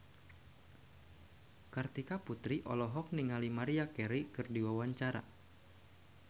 Kartika Putri olohok ningali Maria Carey keur diwawancara